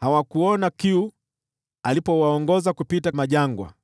Hawakuona kiu alipowaongoza kupita jangwani;